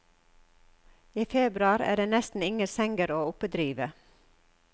I februar er det nesten ingen senger å oppdrive.